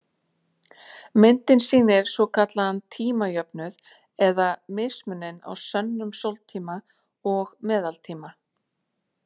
Myndin sýnir svokallaðan tímajöfnuð eða mismuninn á sönnum sóltíma og meðaltíma.